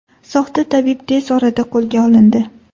Soxta tabib tez orada qo‘lga olindi.